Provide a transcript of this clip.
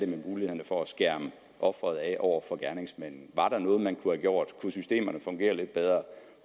mulighederne for at skærme ofret af over for gerningsmanden var der noget man kunne have gjort kunne systemerne fungere lidt bedre